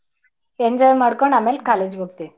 Enjoy ಮಾಡಕೊಂಡು ಅಮೇಲ್ college ಹೋಗತಿವಿ.